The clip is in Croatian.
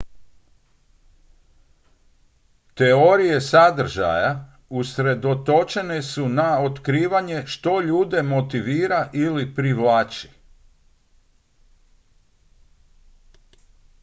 teorije sadržaja usredotočene su na otkrivanje što ljude motivira ili privlači